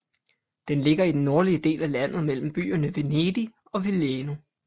Den ligger i den nordlige del af landet mellem byerne Venedig og Milano